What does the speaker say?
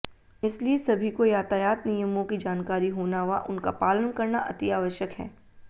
इसलिए सभी को यातायात नियमों की जानकारी होना व उनका पालन करना अतिआवश्यक है